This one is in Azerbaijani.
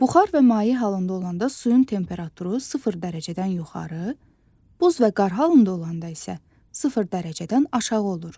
Buxar və maye halında olanda suyun temperaturu sıfır dərəcədən yuxarı, buz və qar halında olanda isə sıfır dərəcədən aşağı olur.